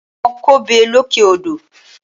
Àwọn ń kọbè lókè odò